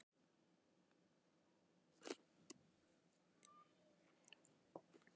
Egill: En á þá ekki bara að taka okkur af þessum lista, lista staðföstu þjóðanna?